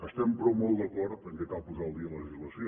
estem però molt d’acord que cal posar al dia la legislació